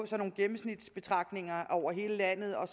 nogle gennemsnitsbetragtninger over hele landet og